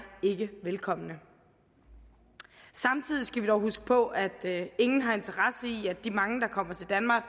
ikke velkomne samtidig skal vi dog huske på at ingen har interesse i at de mange der kommer til danmark